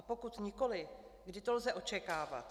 A pokud nikoli, kdy to lze očekávat?